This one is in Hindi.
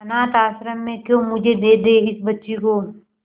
अनाथ आश्रम में क्यों मुझे दे दे इस बच्ची को